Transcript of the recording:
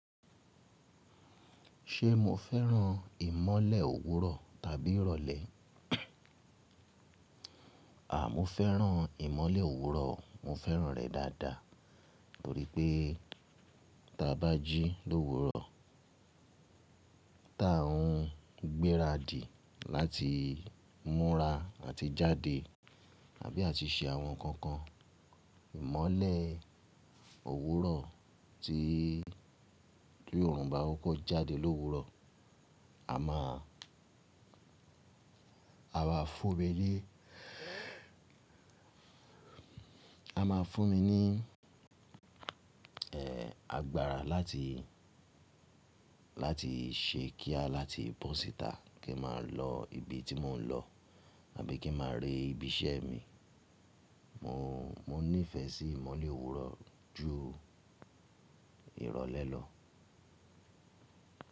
Ṣé mo fẹ́ràn ìmọ́lẹ̀ òwúrọ̀ tàbí ìrọ̀lẹ́? Àà, mo fẹ́ràn ìmọ́lẹ̀ òwúrọ̀. Mo fẹ́ràn rẹ̀ dáadáa torípẹ́ tí a bá jí l'òwúrọ̀, tí a ń gbéra dì láti múra àti jáde àbí àti ṣe àwọn ǹkan kan, ìmọ́lẹ̀ òwúrọ̀ tí òrùn bá koko jáde l'òwúrọ̀, a máa, a máa fún mi ní, ẹ́, agbára láti, láti ṣe kíá láti bọ́ síta kí n máa lọ ibi tí mò ń lọ àbí kí n máa rí ibi iṣẹ́ mi. Mo, mo nífẹ̀ẹ́ sí ìmọ́lẹ̀ òwúrọ̀ ju ìrọ̀lẹ́ lọ.